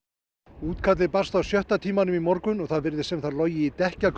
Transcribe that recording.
útkallið barst á sjötta tímanum í morgun og það virðist sem það logi í